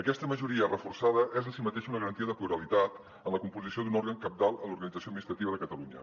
aquesta majoria reforçada és en si mateixa una garantia de pluralitat en la composició d’un òrgan cabdal en l’organització administrativa de catalunya